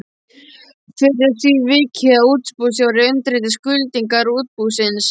Fyrr er að því vikið að útibússtjóri undirriti skuldbindingar útibúsins.